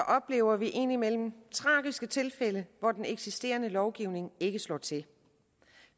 oplever vi indimellem tragiske tilfælde hvor den eksisterende lovgivning ikke slår til